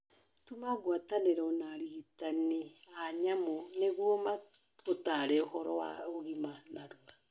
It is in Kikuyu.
Tuma ngwatanĩro na arĩgitani a nyamũ nĩguo magũtare ũhoro wa ũgima narua